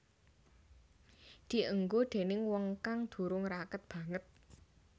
Dienggo déning wong kang durung raket banget